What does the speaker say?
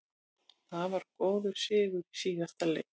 Það var góður sigur í síðasta leik.